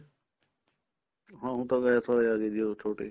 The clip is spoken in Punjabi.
ਹਾਂ ਹੁਣ ਤਾਂ ਗੈਸ ਆਲੇ ਆਗੇ ਜੀ ਉਹ ਛੋਟੇ